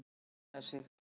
Fór vel með sig.